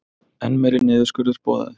Enn meiri niðurskurður boðaður